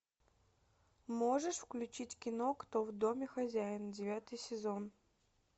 можешь включить кино кто в доме хозяин девятый сезон